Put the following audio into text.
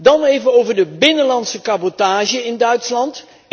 Dan even over de binnenlandse cabotage in Duitsland.